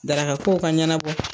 Daraka kow ka ɲanabɔ